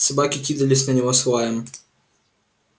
собаки кидались на него с лаем